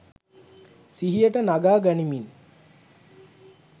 සිහියට නගා ගනිමින්